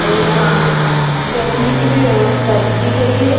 और यहां बैठने की भी व्यवस्था की गई है।